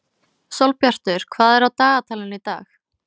Sólbjartur, hvað er á dagatalinu í dag?